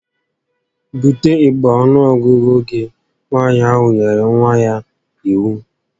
Bute igbe ọnuọgụgụ gị! Nwaanyị ahụ nyere nwa ya iwu